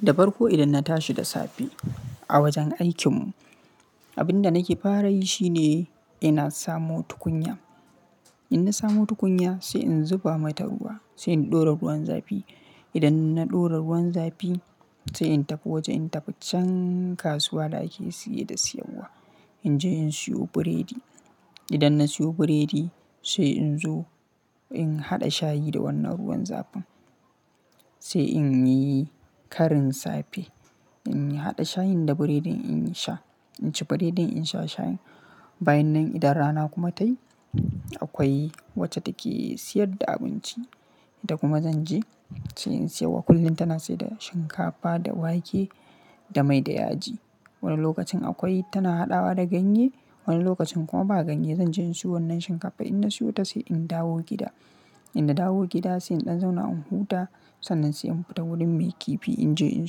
Da farko idan na tashi da safe a wajen aikin mu, abinda nake fara yi shine ina samo tukunya. In na samo tukunya sai in zuba mata ruwa sai in ɗora ruwan zafi. Idan na ɗora ruwan zafi sai in tafi waje in tafi can kasuwa da ake siye da siyan wa. In je in siyo biredi. Idan na siyo biredi sai in zo in haɗa shayi da wannan ruwan zafin sai in yi Karin safe. In yi haɗa shayin da biredin in sha, in ci biredin in sha shayin. Bayan nan idan rana kuma ta yi akwai wacce take siyar da abinci. Ita kuma zan je sai in siyo. Kullum tana sai da shinkafa da wake da mai da yaji. Wani lokacin akwai tana haɗawa da ganye, wani lokacin kuma ba ganye. Zan je in siyo wannan shinkafa idan na siyo ta sai in dawo gida. In na dawo gida sai in ɗan zauna in huta sannan sai in fita wurin mai kifi in je in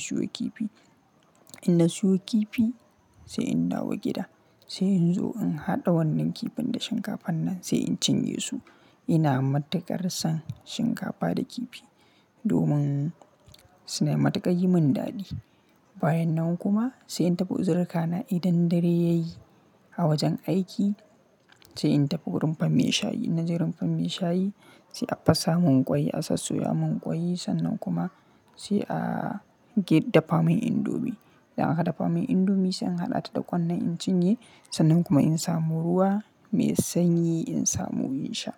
siyo kifi. In na siyo kifi sai in dawo gida sai in zo in haɗa wannan kifin da shinkafan nan sai in cinye su. Ina matakarsan shinkafa da kifi domin suna matakar yi min daɗi. Bayan nan kuma sai in tafi uzirka na idan dare ya yi a wajen aiki sai in tafi wurin rimfar maishayi. In na je rimfar mai shayi sai a fasa mun kwai, a sassoya mun kwai sannan kuma sai a gedda famin indomi. Idan aka dafa min indomi sai in haɗa ta da ƙwan nan in cinye sannan kuma in samo ruwa mai sanyi in samo in sha.